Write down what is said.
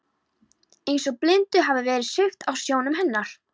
Eins og blindu hafi verið svipt af sjónum hennar.